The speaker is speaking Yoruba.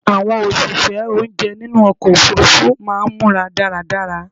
Àwọn òṣìṣẹ́ oúnjẹ nínú ọkọ̀ òfurufú máà ń múra dáradára